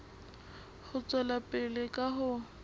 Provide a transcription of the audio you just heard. ho tswela pele ka ho